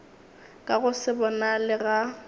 ka go se bonale ga